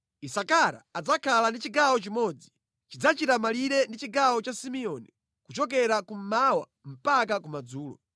“Isakara adzakhala ndi chigawo chimodzi. Chidzachita malire ndi chigawo cha Simeoni kuchokera kummawa mpaka kumadzulo.